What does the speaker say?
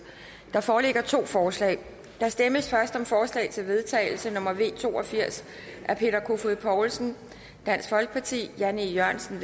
der foreligger to forslag til der stemmes først om forslag til vedtagelse nummer v to og firs af peter kofod poulsen jan e jørgensen